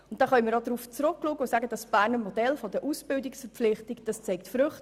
Darauf können wir zurückschauen und sagen, dass das Berner Modell der Ausbildungsverpflichtung Früchte trägt.